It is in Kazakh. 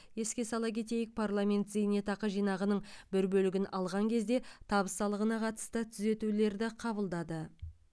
еске сала кетейік парламент зейнетақы жинағының бір бөлігін алған кезде табыс салығына қатысты түзетулерді қабылдады